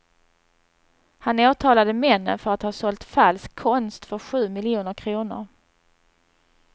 Han åtalade männen för att ha sålt falsk konst för sju miljoner kronor.